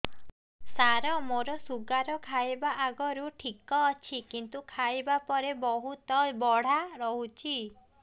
ସାର ମୋର ଶୁଗାର ଖାଇବା ଆଗରୁ ଠିକ ଅଛି କିନ୍ତୁ ଖାଇବା ପରେ ବହୁତ ବଢ଼ା ରହୁଛି